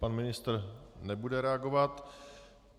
Pan ministr nebude reagovat.